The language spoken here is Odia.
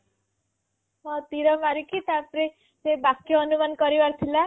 ହଁ ତୀର ମାରିକି ସେ ବାକ୍ୟ ଅନୁମାନ କରିବାର ଥିଲା